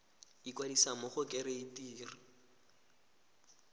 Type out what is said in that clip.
ikwadisa mo go kereite r